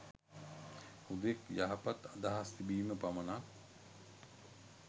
හුදෙක් යහපත් අදහස් තිබීම පමණක්